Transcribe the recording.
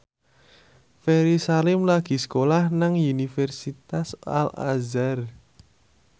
Ferry Salim lagi sekolah nang Universitas Al Azhar